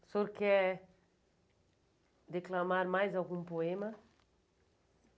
O senhor quer declamar mais algum poema?